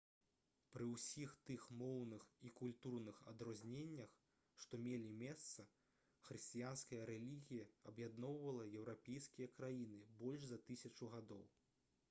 пры ўсіх тых моўных і культурных адрозненнях што мелі месца хрысціянская рэлігія аб'ядноўвала еўрапейскія краіны больш за тысячу гадоў